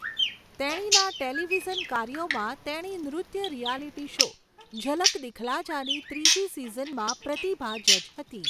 તેણીના ટેલિવિઝન કાર્યોમાં, તેણી નૃત્ય રિયાલિટી શો 'ઝલક દિખલા જા'ની ત્રીજી સિઝનમાં પ્રતિભા જજ હતી.